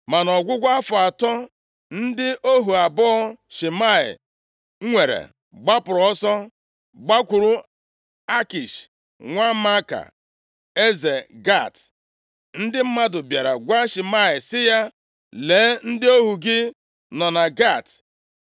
Ma nʼọgwụgwụ afọ atọ, ndị ohu abụọ Shimei nwere gbapụrụ ọsọ gbakwuru Akish, nwa Maaka, eze Gat. + 2:39 Obodo Gat dị na Filistia. Ndị mmadụ bịara gwa Shimei sị ya, “Lee, ndị ohu gị nọ na Gat.”